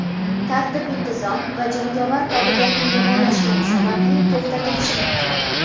tartib-intizom va jangovar qobiliyatning yomonlashgani sababli to‘xtatilishi mumkin.